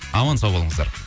аман сау болыңыздар